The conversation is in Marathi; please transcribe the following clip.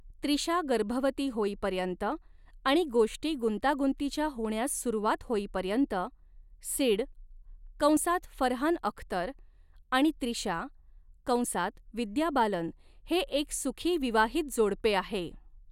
त्रिशा गर्भवती होईपर्यंत आणि गोष्टी गुंतागुंतीच्या होण्यास सुरवात होईपर्यंत सिड कंसात फरहान अख्तर आणि त्रिशा कंसात विद्या बालन हे एक सुखी विवाहित जोडपे आहे.